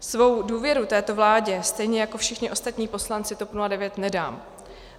Svou důvěru této vládě stejně jako všichni ostatní poslanci TOP 09 nedám.